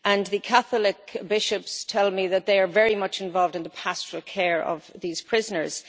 The Catholic bishops tell me that they are very much involved in the pastoral care of these prisoners.